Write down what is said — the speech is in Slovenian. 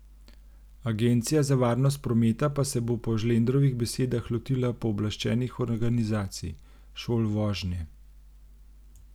Agencija za varnost prometa pa se bo po Žlendrovih besedah lotila pooblaščenih organizacij, šol vožnje.